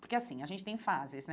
Porque assim, a gente tem fases, né?